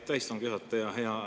Aitäh, istungi juhataja!